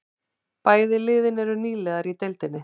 Bæði liðin eru nýliðar í deildinni